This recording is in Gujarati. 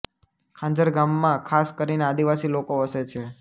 ખાંજર ગામમાં ખાસ કરીને આદિવાસી લોકો વસે છે